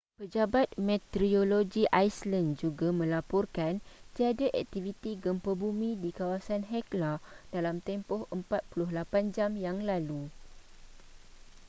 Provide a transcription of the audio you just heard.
pejabat meteorologi iceland juga melaporkan tiada aktiviti gempa bumi di kawasan hekla dalam tempoh 48 jam yang lalu